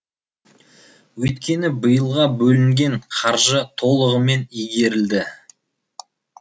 өйткені биылға бөлінген қаржы толығымен игерілді